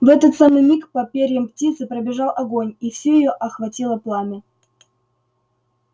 в этот самый миг по перьям птицы пробежал огонь и всю её охватило пламя